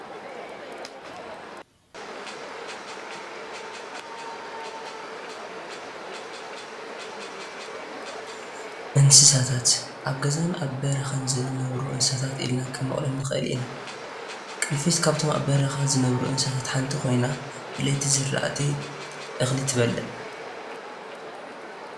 እንስሳታት፡- ኣብ ገዛን ኣብ በረኻን ዝነብሩ እንስሳታት ኢልና ክንመቕሎም ንኽእል ኢና፡፡ ቅንፊዝ ካብቶም ኣብ በረኻ ዝነብሩ እንስሳ ሓንቲ ኮይኑ ብለይቲ ዝራእቲ እኽሊ ትበልዕ፡፡